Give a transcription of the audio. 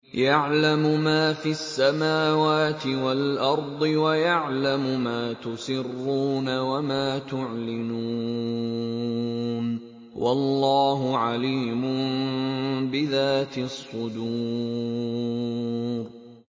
يَعْلَمُ مَا فِي السَّمَاوَاتِ وَالْأَرْضِ وَيَعْلَمُ مَا تُسِرُّونَ وَمَا تُعْلِنُونَ ۚ وَاللَّهُ عَلِيمٌ بِذَاتِ الصُّدُورِ